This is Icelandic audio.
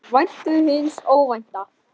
Væntu hins óvænta.